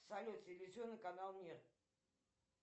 салют телевизионный канал мир